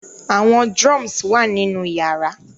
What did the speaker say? Awọn drums wa ninu yara